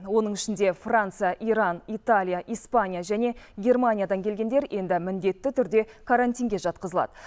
оның ішінде франция иран италия испания және германиядан келгендер енді міндетті түрде карантинге жатқызылады